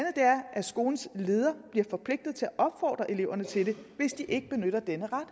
at skolens leder bliver forpligtet til at opfordre eleverne til det hvis de ikke benytter denne ret